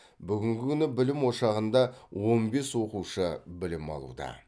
бүгінгі күні білім ошағында он бес оқушы білім алуда